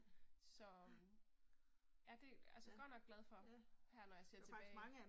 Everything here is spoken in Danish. Så. Ja det, altså godt nok glad for, her når jeg ser tilbage